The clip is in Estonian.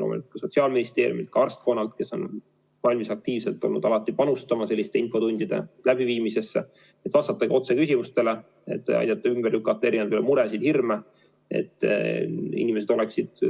Loomulikult ka Sotsiaalministeerium ja arstkond on olnud valmis aktiivselt panustama selliste infotundide läbiviimisesse, et vastata otse küsimustele, et aidata ümber lükata erinevaid muresid, hirme, et inimesed oleksid